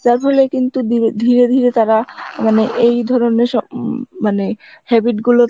যার ফলে কিন্তু দিরে~ ধীরে ধীরে তারা মানে এই ধরনের উম মানে habit গুলো